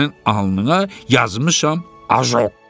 Sənin alnına yazmışam ajok.